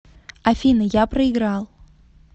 афина я проиграл